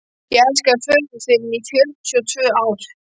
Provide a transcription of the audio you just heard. Ég elskaði föður þinn í fjörutíu og tvö ár.